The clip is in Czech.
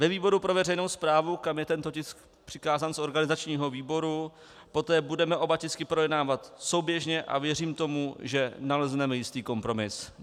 Ve výboru pro veřejnou správu, kam je tento tisk přikázán z organizačního výboru, poté budeme oba tisky projednávat souběžně, a věřím tomu, že nalezneme jistý kompromis.